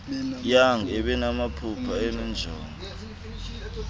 young ebenamaphupha enenjongo